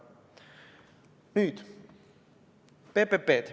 Nüüd PPP-dest.